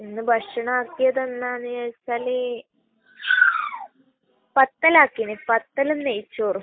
ഇന്ന് ഭക്ഷണം ആക്കിയത് എന്താണെന്ന് ചോദിച്ചാൽ, പത്തൽ ആക്കീന്. പത്തലും നെയ്‌ച്ചോറും.